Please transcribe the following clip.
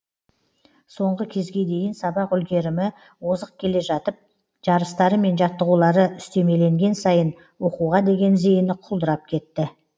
соңғы кезге дейін сабақ үлгерімі озық келе жатып жарыстары мен жаттығулары үстемеленген сайын оқуға деген зейіні құлдырап кетті